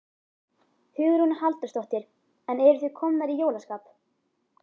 Hugrún Halldórsdóttir: En eruð þið komnar í jólaskap?